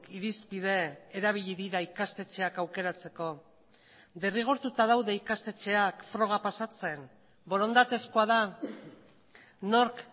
irizpide erabili dira ikastetxeak aukeratzeko derrigortuta daude ikastetxeak froga pasatzen borondatezkoa da nork